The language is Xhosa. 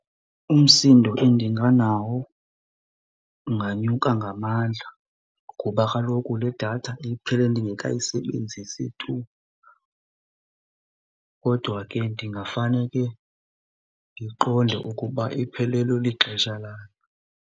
Umsindo endinganawo unganyuka ngamandla kuba kaloku le datha iphele ndingekayisebenzisi tu. Kodwa ke ndingafane ke ndiqonde ukuba iphelelwe lixesha layo.